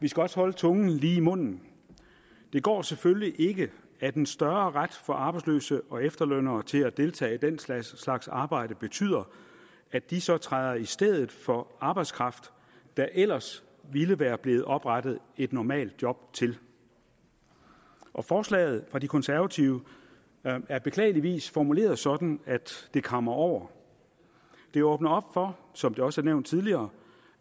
vi skal også holde tungen lige i munden det går selvfølgelig ikke at en større ret for arbejdsløse og efterlønnere til at deltage i den slags slags arbejde betyder at de så træder i stedet for arbejdskraft der ellers ville være blevet oprettet et normalt job til og forslaget fra de konservative er er beklageligvis formuleret sådan at det kammer over det åbner op for som det også er nævnt tidligere